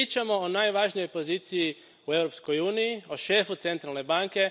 Mi pričamo o najvažnijoj poziciji u Europskoj uniji, o šefu Centralne banke.